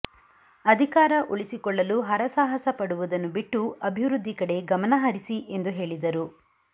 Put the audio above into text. ಅಧಿಕಾರ ಉಳಿಸಿಕೊಳ್ಳಲು ಹರಸಾಹಸ ಪಡುವುದನ್ನು ಬಿಟ್ಟು ಅಭಿವೃದ್ದಿ ಕಡೆ ಗಮನಹರಿಸಿ ಎಂದು ಹೇಳಿದರು